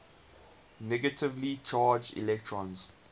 negatively charged electrons